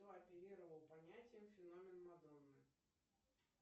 кто оперировал понятием феномен мадонны